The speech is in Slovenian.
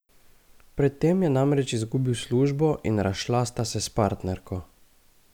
Pred tem je namreč izgubil službo in razšla sta se s partnerko.